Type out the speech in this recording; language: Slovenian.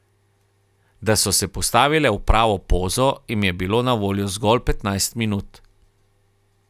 Da so se postavile v pravo pozo jim je bilo na voljo zgolj petnajst minut.